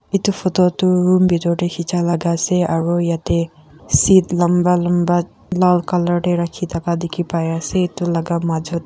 etu photo tu room pitor te khichia laga ase aru ete seat lamba lamba lal colour te rakhi thaka dikhi pai ase etu laga majo te.